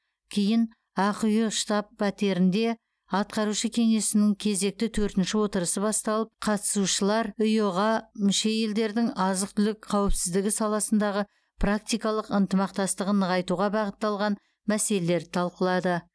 кейін ақиұ штаб пәтерінде атқарушы кеңесінің кезекті төртінші отырысы басталып қатысушылар иыұ ға мүше елдердің азық түлік қауіпсіздігі саласындағы практикалық ынтымақтастығын нығайтуға бағытталған мәселелерді талқылады